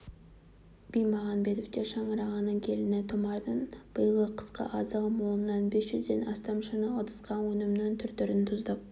бимағанбетовтер шаңырағының келіні тұмардың биылғы қысқы азығы молынан бес жүзден астам шыны ыдысқа өнімнің түр-түрін тұздап